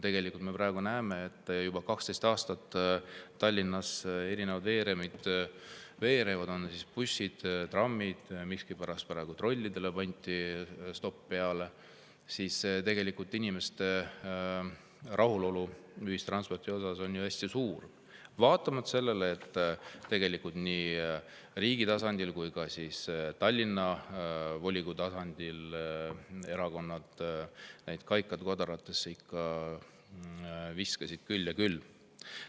Tegelikult me praegu näeme, et juba 12 aastat Tallinnas erinevad veerevad – bussid, trammid, miskipärast trollidele pandi stopp peale – ja inimeste rahulolu ühistranspordiga on hästi suur, vaatamata sellele, et nii riigi tasandil kui ka Tallinna volikogu tasandil viskasid erakonnad kaikaid kodaratesse küll ja küll.